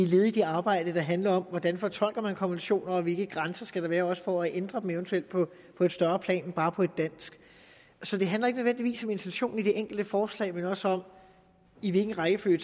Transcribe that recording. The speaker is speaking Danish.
led i det arbejde der handler om hvordan man fortolker konventioner og hvilke grænser der skal være også for at ændre dem eventuelt på et større plan end bare på et dansk så det handler nødvendigvis ikke om intentionen i det enkelte forslag men også om i hvilken rækkefølge